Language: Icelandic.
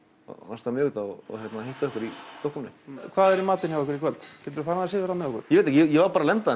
næsta miðvikudag og hitta okkur í Stokkhólmi hvað er í matinn hjá ykkur í kvöld ég var bara að lenda